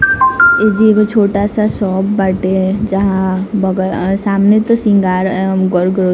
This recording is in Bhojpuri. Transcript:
एक जो छोटा-सा सोप बाटे है जहाँ बगल-सामने तो सिंगार गोल ग्रो-- -